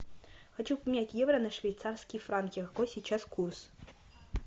хочу поменять евро на швейцарские франки какой сейчас курс